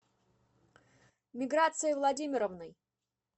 миграцией владимировной